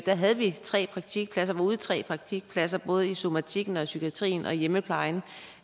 da havde vi tre praktikpladser var ude i tre praktikpladser både i somatikken i psykiatrien og i hjemmeplejen